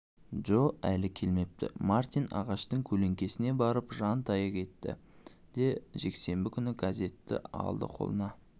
джо әлі келмепті мартин ағаштың көлеңкесіне барып жантая кетті де жексенбі күнгі газетті алды қолына